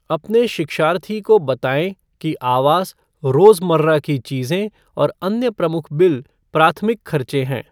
अपने शिक्षार्थी को बतायें कि आवास, रोज़मर्रा की चीज़ें और अन्य प्रमुख बिल, प्राथमिक खर्चे हैं।